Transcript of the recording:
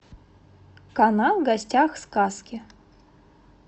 канал в гостях у сказки